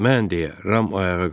Mən deyə Ram ayağa qalxdı.